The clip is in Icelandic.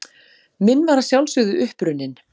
Minn var að sjálfsögðu uppruninn.